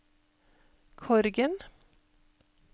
Korgen